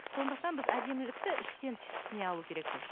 сондықтан біз әдемілікті іштен түсіне алу керекпіз